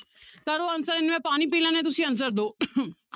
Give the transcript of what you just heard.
ਕਰੋ answer ਇੰਨੇ ਮੈਂ ਪਾਣੀ ਪੀ ਲੈਂਦੀ ਹਾਂ ਤੁਸੀਂ answer ਦਓ